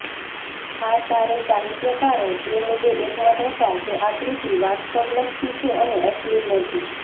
આ ચારેય સાહિત્યકારો એ મુદ્દે એકમત હતા કે આ કૃતિ વાસ્તવલક્ષી છે અને અશ્લીલ નથી